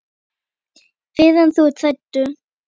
Fyrr en þú ert hættur.